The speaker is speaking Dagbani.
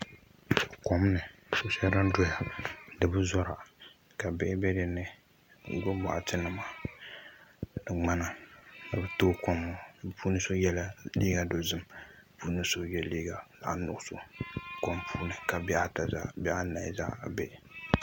Kom ni ko shɛli din doya di bi zora ka bihi bɛ dinni n gbubi boɣati nima ni ŋmana ni bi tooi kom maa bi puuni so yɛla liiga dozim ka bi puuni so yɛ liiga zaɣ nuɣso kom puuni ka bihi anahi zaa ha bɛ